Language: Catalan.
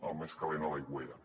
el més calent a l’aigüera